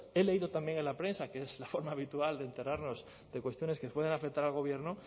he leído también en la prensa que es la forma habitual de enterarnos de cuestiones que puedan afectar al gobierno